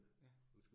Ja